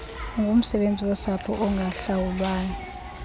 ungumsebenzi wosapho ongahlawulwayo